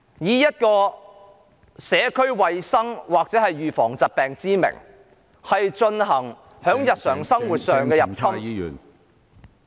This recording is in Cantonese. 特區政府以社區衞生或預防疾病之名，在日常生活上入侵......